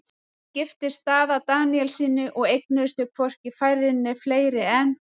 Hún giftist Daða Daníelssyni og eignuðust þau hvorki færri né fleiri en